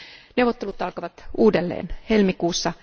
Neuvottelut alkavat uudelleen helmikuussa.